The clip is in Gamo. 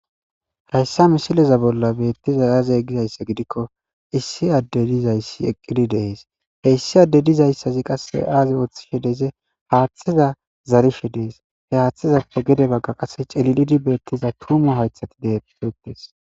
hayssa misileza bolla beettiza aaze gizayssa gidikko issi adde dizayssi eqqidi dees he issi adde dizayssazi qase aaze ooththishe deze haaththiza zarifhe dees he haaththizappe gede bagga qasse celilidi beettiza tuumu haythati deeyeettes